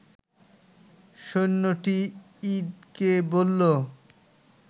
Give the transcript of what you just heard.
সৈন্যটি ইদকে বললো